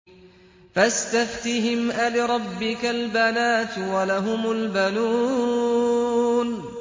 فَاسْتَفْتِهِمْ أَلِرَبِّكَ الْبَنَاتُ وَلَهُمُ الْبَنُونَ